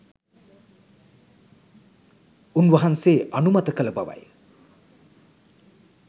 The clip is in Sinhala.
උන්වහන්සේ අනුමත කළ බවය.